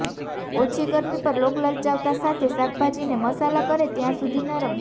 ઓછી ગરમી પર લોગ લલચાવતા સાથે શાકભાજીને મસાલા કરે ત્યાં સુધી નરમ